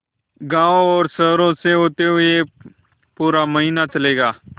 गाँवों और शहरों से होते हुए पूरा महीना चलेंगे